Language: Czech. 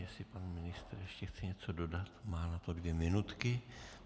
Jestli pan ministr ještě chce něco dodat, má na to dvě minutky.